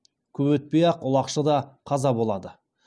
көп өтпей ақ ұлақшы да қаза болады